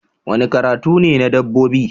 Wani karatu ne na dabbobi